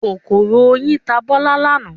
Kòkòrò oyin ta Bọ́lá lánàá.